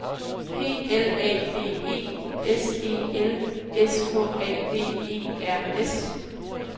P L A D E S E L S K A B E R S